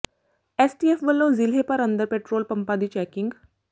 STF ਵੱਲੋਂ ਜ਼ਿਲ੍ਹੇ ਭਰ ਅੰਦਰ ਪੈਟਰੋਲ ਪੰਪਾਂ ਦੀ ਚੈਕਿੰਗ